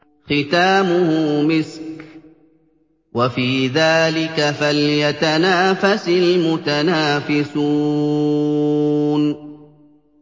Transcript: خِتَامُهُ مِسْكٌ ۚ وَفِي ذَٰلِكَ فَلْيَتَنَافَسِ الْمُتَنَافِسُونَ